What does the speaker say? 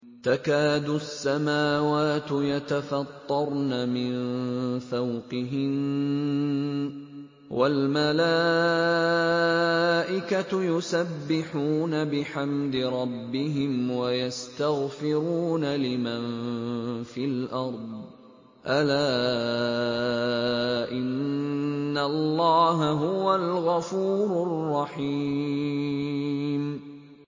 تَكَادُ السَّمَاوَاتُ يَتَفَطَّرْنَ مِن فَوْقِهِنَّ ۚ وَالْمَلَائِكَةُ يُسَبِّحُونَ بِحَمْدِ رَبِّهِمْ وَيَسْتَغْفِرُونَ لِمَن فِي الْأَرْضِ ۗ أَلَا إِنَّ اللَّهَ هُوَ الْغَفُورُ الرَّحِيمُ